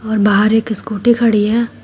और बाहर एक स्कूटी खड़ी है।